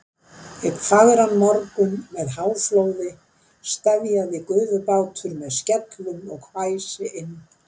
Einn fagran morgun með háflóði steðjaði gufubátur með skellum og hvæsi inn